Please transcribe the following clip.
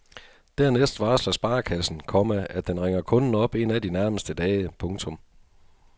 Dernæst varsler sparekassen, komma at den ringer kunden op en af de nærmeste dage. punktum